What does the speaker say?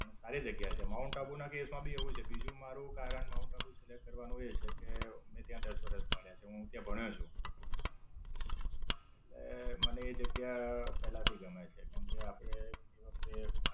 પણ સારી જગ્યા છે. માઉન્ટ આબુ ના case માં ભી એવું છે. બીજું મારુ કારણ માઉન્ટ આબુ select કરવાનું એ છે કે અમે ત્યાં દસ વરસ કાઢ્યા છે હું ત્યાં ભણ્યો છું. એટલા મને એ જગ્યા પેલા થી ગમે છે. કેમકે, તે આપણે વખતે